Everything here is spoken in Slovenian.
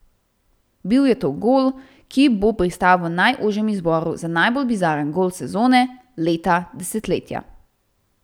Bil je to gol, ki bo pristal v najožjem izboru za najbolj bizaren gol sezone, leta, desetletja.